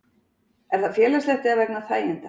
Er það félagslegt eða vegna þæginda?